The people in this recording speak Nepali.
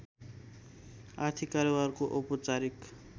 आर्थिक कारोबारको औपचारिक